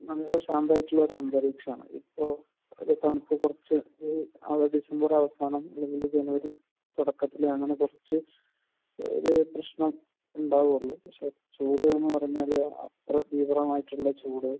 നല്ല ശാന്തമായിട്ടുള്ള ഒരു അന്തരീക്ഷമാണ്. ഇപ്പോൾ തണുപ്പ് കുറച്ച് അല്ലെങ്കിൽ ഡിസംബർ അവസാനം അല്ലെങ്കിൽ ജനുവരി തുടക്കത്തിൽ അങ്ങനെ കുറച്ച് ഓരോ പ്രശ്നം ഉണ്ടാകുമല്ലോ. പക്ഷെ ചൂട് എന്ന് പറഞ്ഞാൽ അത്ര തീവ്രമായിട്ടുള്ള ചൂട്.